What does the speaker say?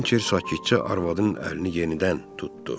Hinçer sakitcə arvadının əlini yenidən tutdu.